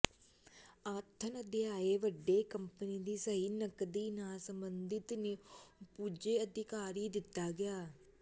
ਆਥਣ ਅਧਿਆਇ ਵੱਡੇ ਕੰਪਨੀ ਦੀ ਸਹੀ ਨਕਦੀ ਨਾਲ ਸੰਬੰਧਿਤ ਨ੍ਯੂ ਪੁੱਜੇ ਅਧਿਕਾਰ ਦਿੱਤਾ ਗਿਆ ਹੈ